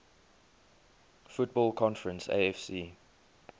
football conference afc